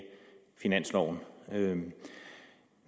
finanslov